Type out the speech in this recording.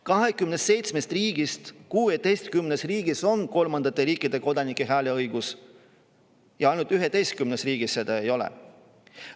27 riigist 16 riigis on kolmandate riikide kodanikel hääleõigus ja ainult 11 riigis seda ei ole.